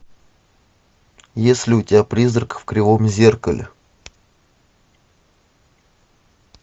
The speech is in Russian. есть ли у тебя призрак в кривом зеркале